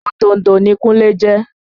Òtòǹdò ni Kunle yẹn